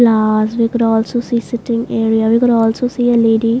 As we could also see sitting area we could also see a lady.